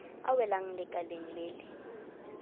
a welang lekaleng le le